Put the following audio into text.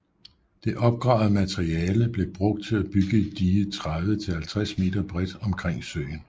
Det opgravede materiale blev brugt til at bygge et dige 30 til 50 m bredt omkring søen